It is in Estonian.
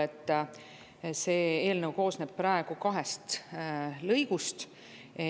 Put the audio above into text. Eelnõu koosneb praegu kahest lõigust.